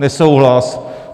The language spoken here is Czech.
Nesouhlas.